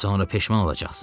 Sonra peşman olacaqsız.